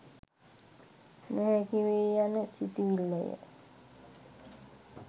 නොහැකි වේය යන සිතිවිල්ලය.